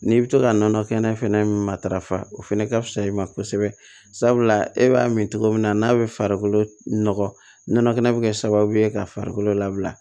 N'i bɛ to ka nɔnɔ kɛnɛ fɛnɛ matarafa o fɛnɛ ka fisa i ma kosɛbɛ sabula e b'a min cogo min na n'a bɛ farikolo nɔgɔ nɔnɔ kɛnɛ bɛ kɛ sababu ye ka farikolo labila